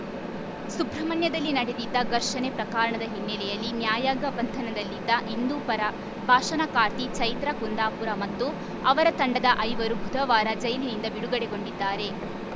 ಸುಬ್ರಹ್ಮಣ್ಯದಲ್ಲಿ ನಡೆದಿದ್ದ ಘರ್ಷಣೆ ಪ್ರಕಾರಣದ ಹಿನ್ನೆಲೆಯಲ್ಲಿ ನ್ಯಾಯಾಂಗ ಬಂಧನದಲ್ಲಿದ್ದ ಹಿಂದೂಪರ ಭಾಷಣಕಾರ್ತಿ ಚೈತ್ರಾ ಕುಂದಾಪುರ ಮತ್ತು ಅವರ ತಂಡದ ಐವರು ಬುಧವಾರ ಜೈಲಿನಿಂದ ಬಿಡುಗಡೆಗೊಂಡಿದ್ದಾರೆ